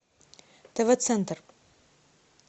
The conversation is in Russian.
тв центр